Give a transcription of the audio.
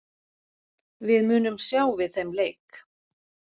Við munum sjá við þeim leik!